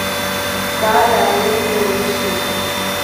таля олеговна мишина